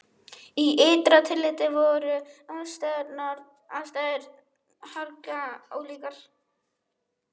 Í ytra tilliti voru aðstæður harla ólíkar.